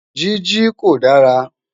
Jiji ko dara